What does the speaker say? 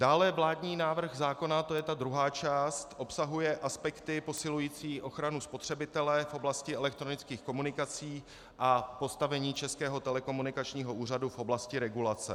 Dále vládní návrh zákona, to je ta druhá část, obsahuje aspekty posilující ochranu spotřebitele v oblasti elektronických komunikací a postavení Českého telekomunikačního úřadu v oblasti regulace.